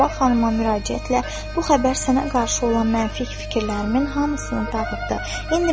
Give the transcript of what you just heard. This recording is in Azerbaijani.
və Sabah xanıma müraciətlə bu xəbər sənə qarşı olan mənfi fikirlərimin hamısını dağıtdı.